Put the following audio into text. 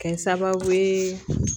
Kɛ sababu ye